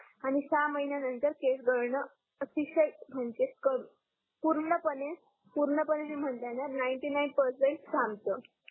आणि सहा महिन्या नंतर केस गडण अतिशय म्हणजे कम पूर्ण पणे पूर्ण पणे म्हणल्यान नाइंटी नाइन परसेंट थांबत